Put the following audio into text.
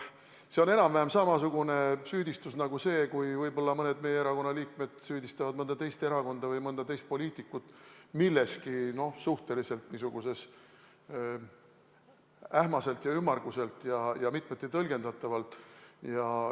See on enam-vähem samasugune süüdistus nagu see, kui võib-olla mõned meie erakonna liikmed süüdistavad mõnda teist erakonda või mõnda teist poliitikut milleski suhteliselt ähmaselt ja ümmarguselt ja mitmeti tõlgendatavas.